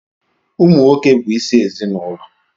Ụmụ nwoke bụ isi ezinụlọ